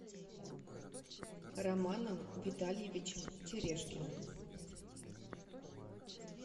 романом витальевичем терешкиным